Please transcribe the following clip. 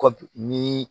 Kɔ bi ni